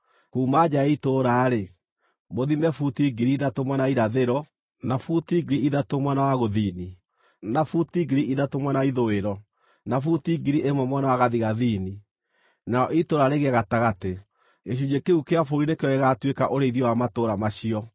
Kuuma nja ya itũũra-rĩ, mũthime buti 3,000 mwena wa irathĩro, na buti 3,000 mwena wa gũthini, na buti 3,000 mwena wa ithũĩro, na buti 1,000 mwena wa gathigathini, narĩo itũũra rĩgĩe gatagatĩ. Gĩcunjĩ kĩu kĩa bũrũri nĩkĩo gĩgaatuĩka ũrĩithio wa matũũra macio.